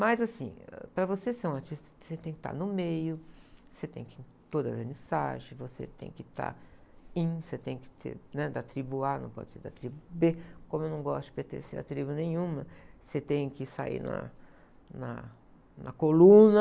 Mas assim, para você ser um artista, você tem que estar no meio, você tem que, toda a vernissage, você tem que estar in, você tem que ter, né? Da tribo a, não pode ser da tribo bê, como eu não gosto de pertencer a tribo nenhuma, você tem que sair na, na, na coluna,